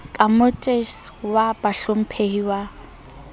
ka motes wa bahlomphehi wa